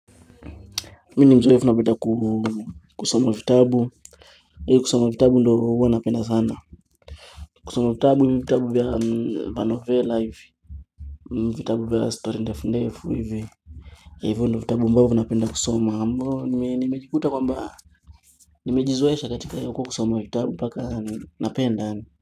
Mimi ni mzoefu napenda kusoma vitabu mimi kusoma vitabu ndiyo huwa napenda sana kusoma vitabu, hivyo vitabu anovela hivi. Vitabu vya story ndefu ndefu hivi. Hivyo ndivyo vitabu ambavyo huwa napenda kusoma ambapo nimejikuta kwamba Nimejizoesha katika hiyo kusoma vitabu mpaka napenda yaani.